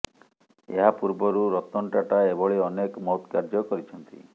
ଏହାପୂର୍ବରୁ ରତନ ଟାଟା ଏଭଳି ଅନେକ ମହତ୍ କାର୍ଯ୍ୟ କରିଛନ୍ତି